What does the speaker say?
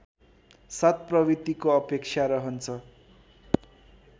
सत्प्रवृत्तिको अपेक्षा रहन्छ